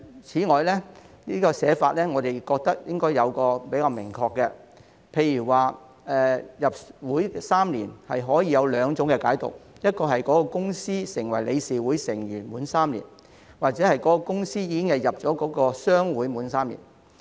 此外，我們認為在寫法上應該更加明確，例如"入會3年"可以有兩種解讀：該公司成為理事會成員滿3年，又或是該公司已經加入商會滿3年。